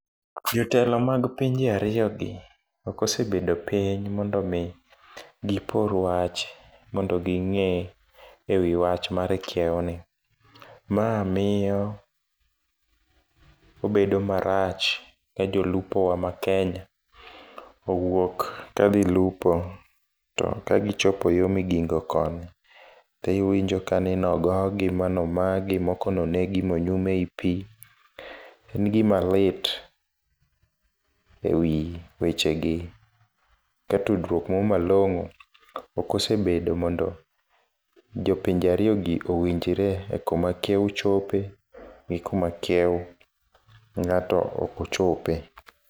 Jotelo mag pinje ariyo gi okosebedo piny mondo mi gipor wach mondo ging'e e wi wach mar kiewo ni . Ma miyo obedo marach ne jolupo wa ma Kenya owuok ka dhi lupo to ka gichopo yoo migingo koni tiwinjo kani nogogi ma nomagi moko nonegi monyum ei pii. En gima lit ewi weche gi ka tudruok moro malong'o ok osebedo mondo jopinje ariyo gi owinjre e kuma kiewo chope gi kuma kiewo ng'ato okochope.